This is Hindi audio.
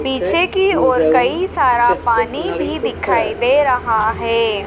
पीछे की ओर कई सारा पानी भी दिखाई दे रहा है।